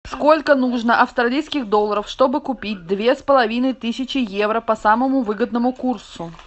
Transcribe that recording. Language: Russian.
сколько нужно австралийских долларов чтобы купить две с половиной тысячи евро по самому выгодному курсу